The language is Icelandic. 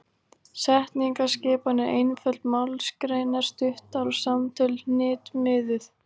Setningaskipan er einföld, málsgreinar stuttar og samtöl hnitmiðuð.